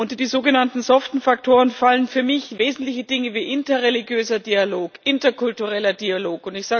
Unter die sogenannten soften Faktoren fallen für mich wesentliche Dinge wie interreligiöser Dialog, interkultureller Dialog.